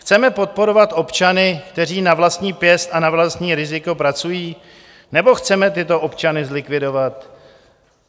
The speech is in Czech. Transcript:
Chceme podporovat občany, kteří na vlastní pěst a na vlastní riziko pracují, nebo chceme tyto občany zlikvidovat?